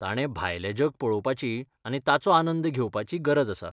ताणें भायलें जग पळोवपाची आनी ताचो आनंद घेवपाची गरज आसा.